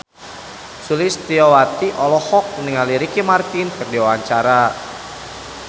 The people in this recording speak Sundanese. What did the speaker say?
Sulistyowati olohok ningali Ricky Martin keur diwawancara